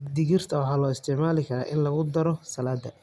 Digirta waxaa loo isticmaali karaa in lagu daro saladi.